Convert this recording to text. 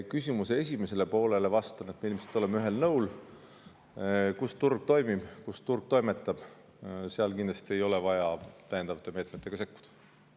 Küsimuse esimesele poolele vastan, et me ilmselt oleme ühel nõul: kus turg toimib ja toimetab, seal kindlasti ei ole vaja täiendavate meetmetega sekkuda.